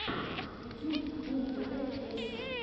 ютьюб бумтв песня